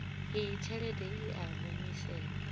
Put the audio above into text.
iyi tshelede i a humiselwa